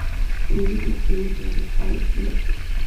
Dawladdu waxay wajahday xaaluf dhuleed.